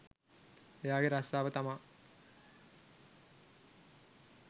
එයා ගේ රස්සාව තමා